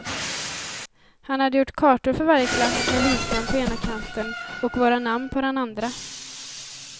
Han hade gjort kartor för varje klass med visnamn på ena kanten och våra namn på den andra.